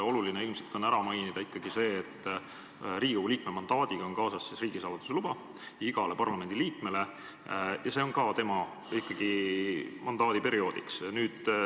Oluline on ilmselt ikkagi ära mainida see, et iga Riigikogu liikme mandaadiga käib kaasas riigisaladuse luba, aga see on tema parlamendiliikmeks olemise ajaks.